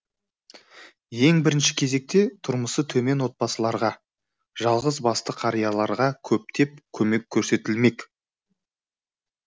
ең бірінші кезекте тұрмысы төмен отбасыларға жалғыз басты қарияларға көптеп көмек көрсетілмек